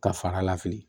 Ka far'a la fili